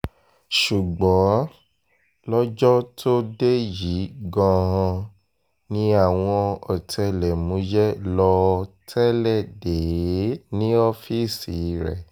ṣùgbọ́n lọ́jọ́ tó dé yìí gan-an ni àwọn ọ̀tẹlẹ̀múyẹ́ lọ́ọ́ tẹ́lẹ̀ dé e ní ọ́ọ́fíìsì rẹ̀